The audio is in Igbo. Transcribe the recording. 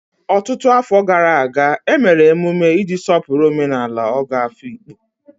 Ọtụtụ afọ gara aga, e mere emume iji sọpụrụ omenala Ogo Afikpo.